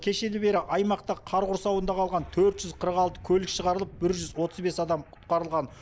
кешелі бері аймақта қар құрсауында қалған төрт жүз қырық алты көлік шығарылып бір жүз отыз бес адам құтқарылған